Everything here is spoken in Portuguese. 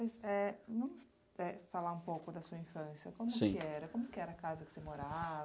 Clóvis, eh, vamos eh, falar um pouco da sua infância. Como que era. Sim. Como que era a casa que você morava